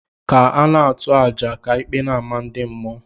Ka a na-atụ àjà ka ikpe na-ama ndị mmụọ.